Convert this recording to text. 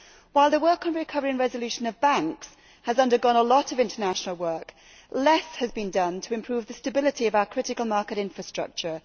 While the work on the recovery and resolution of banks has undergone a lot of international work, less has been done to improve the stability of our critical market infrastructure.